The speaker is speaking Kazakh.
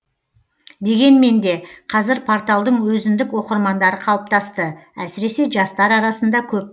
дегенменде қазір порталдың өзіндік оқырмандары қалыптасты әсіресе жастар арасында көп